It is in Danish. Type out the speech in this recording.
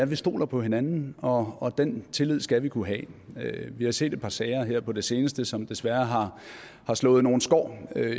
vi stoler på hinanden og den tillid skal vi kunne have vi har set et par sager her på det seneste som desværre har slået nogle skår